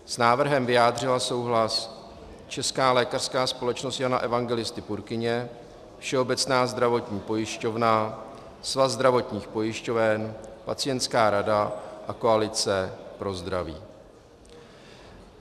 S návrhem vyjádřila souhlas Česká lékařská společnost Jana Evangelisty Purkyně, Všeobecná zdravotní pojišťovna, Svaz zdravotních pojišťoven, Pacientská rada a Koalice pro zdraví.